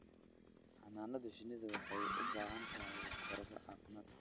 Xannaanada shinnidu waxay u baahan tahay waxbarasho caafimaad.